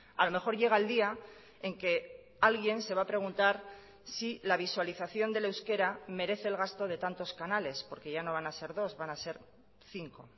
a lo mejor llega el día en que alguien se va a preguntar si la visualización del euskera merece el gasto de tantos canales porque ya no van a ser dos van a ser cinco